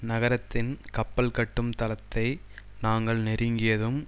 நகரத்தின் கப்பல்கட்டும் தளத்தை நாங்கள் நெருங்கியதும்